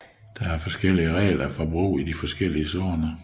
Der er forskellige regler for brug i de forskellige zoner